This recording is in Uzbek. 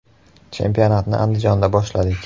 Chempionatni Andijonda boshladik.